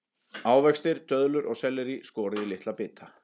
Ávextir, döðlur og sellerí skorið í litla bita.